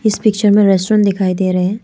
इस पिक्चर में रेस्टोरेंट दिखाई दे रहे हैं।